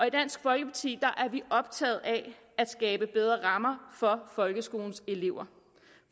i dansk folkeparti er vi optaget af at skabe bedre rammer for folkeskolens elever